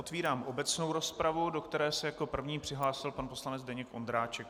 Otevírám obecnou rozpravu, do které se jako první přihlásil pan poslanec Zdeněk Ondráček.